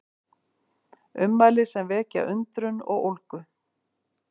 Ummæli sem vekja undrun og ólgu